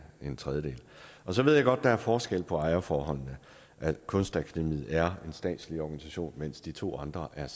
en tredjedel så ved jeg godt at der er forskel på ejerforholdene kunstakademiet er en statslig organisation mens de to andre er